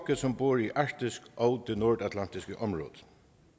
som bor i arktis og det nordatlantiske om